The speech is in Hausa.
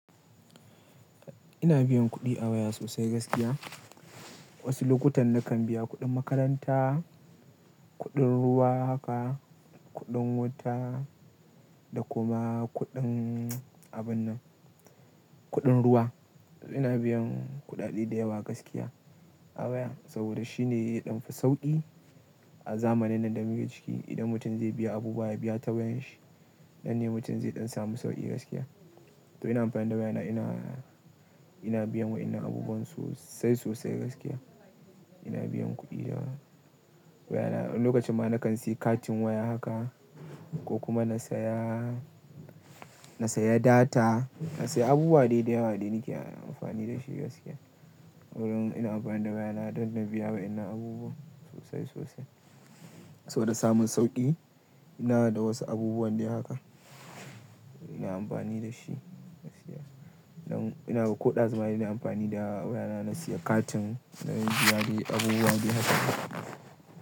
Ina biyan kuɗi a waya sosai gaskiya. Wasu lokutan nakan biya kuɗin makaranta, kuɗin ruwa haka, kuɗin wuta da kuma kuɗin abun nan, kuɗin ruwa. Ina biyan kuɗaɗe da yawa gaskiya a waya saboda shi ne ya ɗan fi sauƙi a zamanin nan da muke ciki. Idan mutum zai biya abu ba ya biya ta wayan shi, nan ne mutum zai ɗan samu sauƙi gaskiya. To ina amfani da wayana ina, ina biya wa ina abubuwan sosai sosai gaskiya. Ina biyan kuɗi da wayana. Lokacin ma na kan sayi katin waya haka ko kuma na saya, na saya data, na sayi abubuwa dai da yawa da nake amfani da shi gaskiya. Saboda ina amfani da wayana don na biya wa ina abubuwa sosai sosai. Saboda samun sauƙi ina da wasu abubuwa dai haka ina amfani da shi gaskiya. Nan ina da ko ɗazu ma ina amfani da wayana na sayi katin, na biya dai abubuwa dai haka.